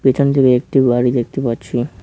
পেছনদিকে একটি বাড়ি দেখতে পাচ্ছি।